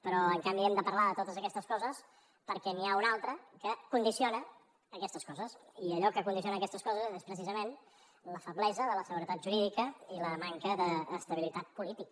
però en canvi hem de parlar de totes aquestes coses perquè n’hi ha una altra que condiciona aquestes coses i allò que condiciona aquestes coses és precisament la feblesa de la seguretat jurídica i la manca d’estabilitat política